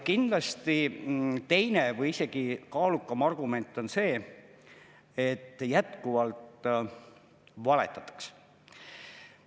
Kindlasti teine või isegi kaalukam argument on see, et jätkuvalt valetatakse.